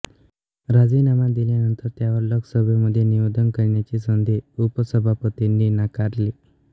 राजीनामा दिल्यानंतर त्यावर लोकसभेमध्ये निवेदन करण्याची संधी उपसभापतींनी नाकारली